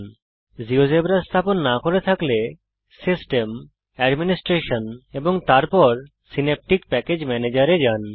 যদি আপনি জীয়োজেব্রা স্থাপন না করে থাকেন তাহলে জীয়োজেব্রা স্থাপন করার জন্যে আপনি system administration synaptic package manager এ যান